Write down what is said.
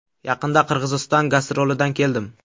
Yaqinda Qirg‘iziston gastrolidan keldim.